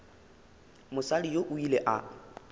mosadi yoo o ile a